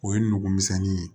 O ye nugu misɛnnin ye